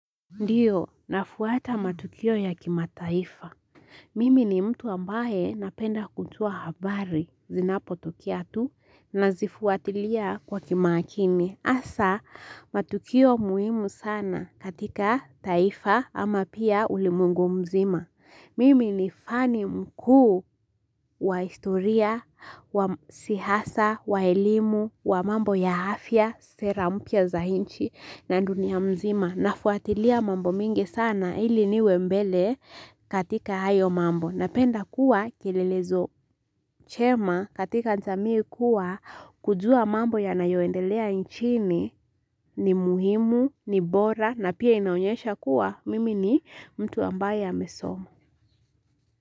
Ndiyo, nafuata matukio ya kima taifa. Mimi ni mtu ambaye napenda kujua habari zinapotokea tu na zifuatilia kwa kima akini. Hasa, matukio muhimu sana katika taifa ama pia ulimwengu mzima. Mimi ni fani mkuu wa historia, wa siasa, wa elimu, wa mambo ya afya, sera mpya za inchi na dunia mzima. Nafuatilia mambo mengi sana ili niwe mbele katika ayo mambo na penda kuwa kilelezo chema katika jamii kuwa kujua mambo ya nayoendelea nchini ni muhimu, ni bora na pia inaonyesha kuwa mimi ni mtu ambaye amesoma.